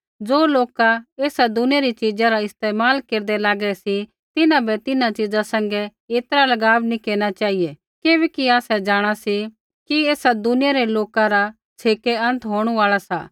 ज़ो लोका ऐई दुनिया री च़ीजा रा इस्तेमाल केरदै लागै सी तिन्हां बै तिन्हां च़ीजा सैंघै ऐतरा लगाव नैंई केरना चेहिऐ किबैकि आसै जाँणा सी कि ऐई दुनिया रा छ़ेकै अंत होंणु आल़ा सा